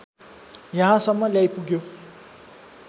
यहाँसम्म ल्याइपुग्यो